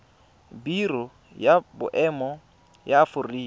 biro ya boemo ya aforika